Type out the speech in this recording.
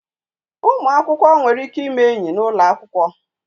Ụmụ akwụkwọ nwere ike ime enyi n'ụlọ akwụkwọ.